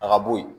A ka bo yen